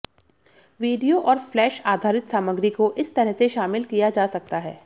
video और flash आधारित सामग्री को इस तरह से शामिल किया जा सकता है